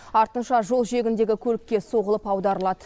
артынша жол жиегіндегі көлікке соғылып аударылады